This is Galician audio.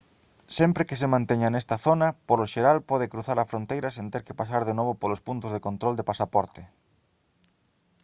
sempre que se manteña nesta zona polo xeral pode cruzar a fronteira sen ter que pasar de novo polos puntos de control de pasaporte